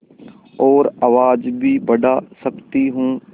और आवाज़ भी बढ़ा सकती हूँ